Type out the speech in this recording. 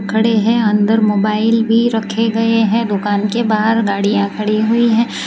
खड़े हैं अंदर मोबाइल भी रखे गए हैं दुकान के बाहर गाड़ियां खड़ी हुई है।